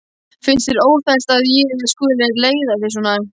Finnst þér óþægilegt að ég skuli leiða þig svona?